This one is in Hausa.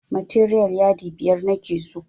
Materiyal yadi biyar nake so